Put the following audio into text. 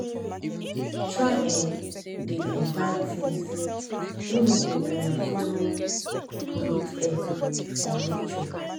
try um dey um buy tins wey no go um follow pollute air or nature